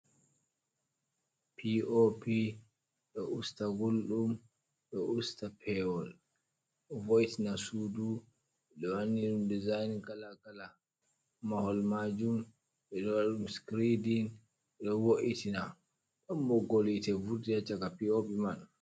Pii`opi, ɗo usta gulɗum, ɗo usta peewal, ɗo vo`itina suudu, ɓe wanni ɗum dizaayin kalakala, mahol maajum be ɗo waɗi ɗum sikriidin, ɗo vo’itina, ɗon ɓoggol hiite vurti haa caka pii`opi man.